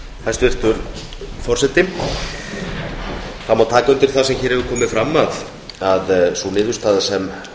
hæstvirtur forseti það má taka undir það sem hér hefur komið fram að sú niðurstaða sem